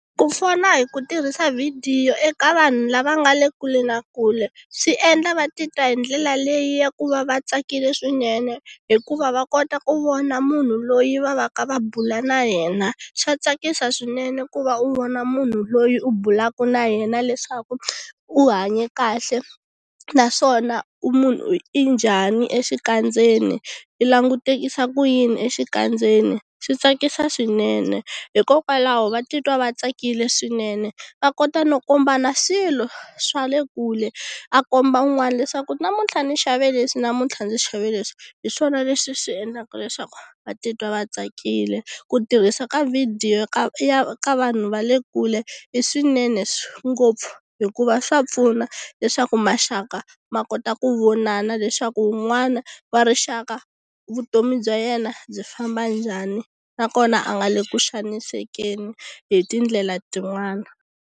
Ku fona hi ku tirhisa video eka vanhu lava nga le kule na kule, swiendla va titwa hindlela leyi ya ku va vatsakile swinene hikuva va kota ku vona munhu loyi va va ka va bula na yena, swa tsakisa swinene ku va u vona munhu loyi u bulaka na yena leswaku u hanya kahle. Naswona u munhu i njhani exikandzeni, i langutekisa ku yini exikandzeni, swi tsakisa swinene. Hikokwalaho va titwa va tsakile swinene, va kota no kombana swilo swa le kule a komba un'wana leswaku namuntlha ni xave leswi namuntlha ndzi xave leswi. Hi swona leswi swi endlaka leswaku va titwa va tsakile. Ku tirhisa ka video ka ka vanhu va le kule i swinene ngopfu, hikuva swa pfuna leswaku maxaka ma kota ku vonana leswaku wun'wana wa rixaka vutomi bya yena byi famba njhani, nakona a nga le ku xanisekeni hi tindlela tin'wani.